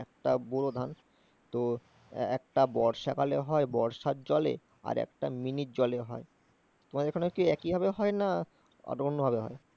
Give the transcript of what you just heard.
একটা ব্যুরো ধান। তো একটা বর্ষাকালে হয় বর্ষার জলে আর একটা মিনিট জলে হয়। তোমাদের ওখানে কি একইভাবে হয় না ওটা অন্যভাবে হয়?